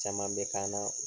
Caman bɛ k'an na